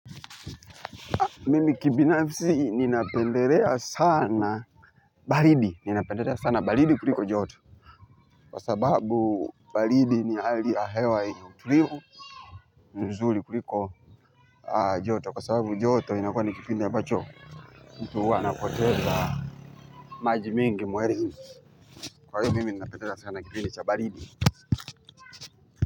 Mimi kibinafisi ninapendelea sana baridi, ninapendelea sana baridi kuliko joto kwa sababu baridi ni hali ya hewa yenye utulivu nzuri kuliko joto kwa sababu joto inakuwa ni kipindi ambacho mtu huwa anapoteza maji mingi mwilini kwa hiyo mimi ninapendelea sana kipinda cha baridi.